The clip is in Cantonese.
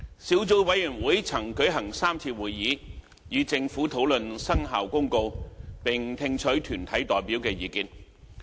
小組委員會曾舉行3次會議，與政府討論《生效公告》，並聽取團體代表的意見。